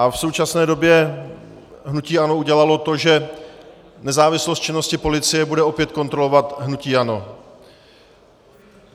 A v současné době hnutí ANO udělalo to, že nezávislost činnosti policie bude opět kontrolovat hnutí ANO.